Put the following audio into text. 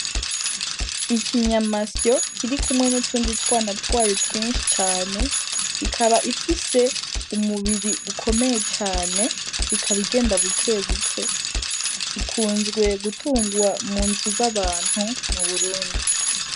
Ikinyamasyo kirikumwe n'utundi twana twayo twishi cane ikaba ifise umubiri ukomeye cane ikaba igenda buke buke ikunzwe gutungwa munzu za bantu mu Burundi.